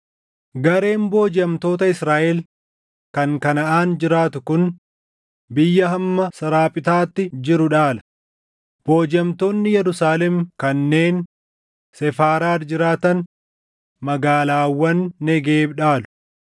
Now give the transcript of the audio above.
Gareen boojiʼamtoota Israaʼel kan Kanaʼaan jiraatu kun biyya hamma Saaraptaatti jiru dhaala; boojiʼamtoonni Yerusaalem kanneen Sefaaraad jiraatan magaalaawwan Negeeb dhaalu.